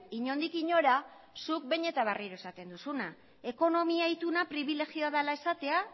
inondik inora zuk behin eta berriro esaten duzuna ekonomia ituna pribilegioa dela esatea